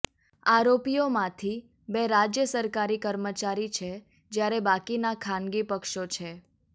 આરોપીઓમાંથી બે રાજ્ય સરકારી કર્મચારી છે જ્યારે બાકીના ખાનગી પક્ષો છે